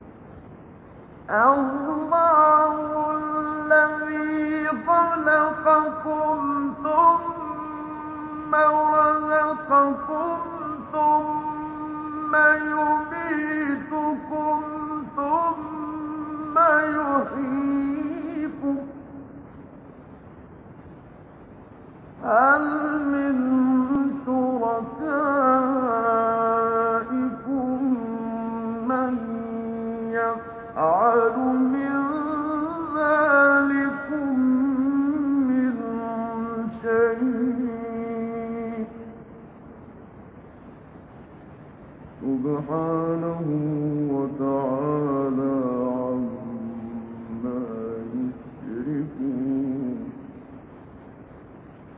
اللَّهُ الَّذِي خَلَقَكُمْ ثُمَّ رَزَقَكُمْ ثُمَّ يُمِيتُكُمْ ثُمَّ يُحْيِيكُمْ ۖ هَلْ مِن شُرَكَائِكُم مَّن يَفْعَلُ مِن ذَٰلِكُم مِّن شَيْءٍ ۚ سُبْحَانَهُ وَتَعَالَىٰ عَمَّا يُشْرِكُونَ